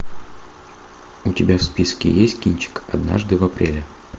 у тебя в списке есть кинчик однажды в апреле